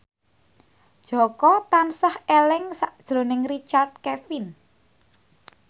Jaka tansah eling sakjroning Richard Kevin